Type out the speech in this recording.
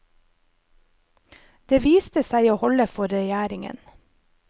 Det viste seg å holde for regjeringen.